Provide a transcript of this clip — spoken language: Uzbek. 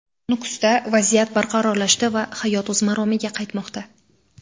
Nukusda vaziyat barqarorlashdi va hayot o‘z maromiga qaytmoqda;.